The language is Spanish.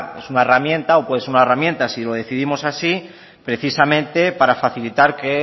es una herramienta o puede ser una herramienta si lo decidimos así precisamente para facilitar que